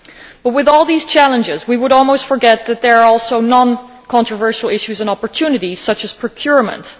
But with all these challenges, we might almost forget that there are also non controversial issues and opportunities, such as procurement.